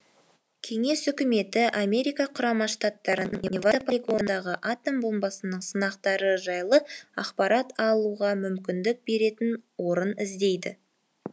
кеңес үкіметі америка құрама штаттарының невада полигонындағы атом бомбасының сынақтары жайлы ақпарат алуға мүмкіндік беретін орын іздейді